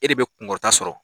E de bɛ kunkɔrɔta sɔrɔ